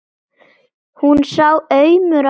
Hún sá aumur á honum.